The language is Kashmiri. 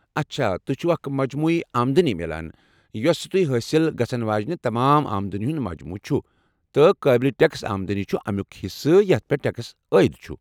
اچھا ، تۄہہ چھو اکھ مجموعی آمدنی میلان، یۄسہٕ تۄہہ حٲصل گژھن واجنہ تمام آمدنی ہُنٛد مجموعہٕ چُھ ، تہٕ قٲبلہِ ٹیكس آمدنی چھ اَمِیُک حصہٕ یتھ پیٹھ ٹیكس عٲید چُھ ۔